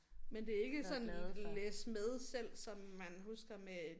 Men det er ikke sådan læs med selv som man husker med